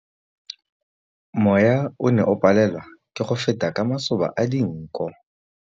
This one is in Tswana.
Mowa o ne o palelwa ke go feta ka masoba a dinko.